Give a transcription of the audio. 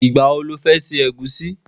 Ìgbà wo lo fẹ́ ṣe ẹ̀gúsí?